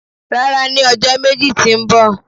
rara, ni ọjọ meji ti mbọ.